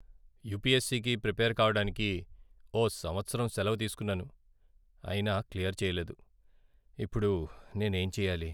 యుపిఎస్సికి prepare కావడానికి ఓ సంవత్సరం సెలవు తీసుకున్నాను, అయినా క్లియర్ చేయలేదు. ఇప్పుడు నేనేం చెయ్యాలి?